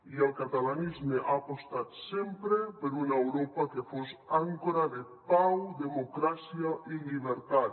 i el catalanisme ha apostat sempre per una europa que fos àncora de pau democràcia i llibertat